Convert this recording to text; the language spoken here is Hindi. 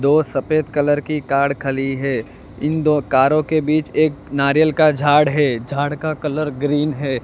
दो सफेद कलर कार खाली है। इन दो कारों के बीच एक नारियल का झाड़ है। झाड़ का कलर ग्रीन है।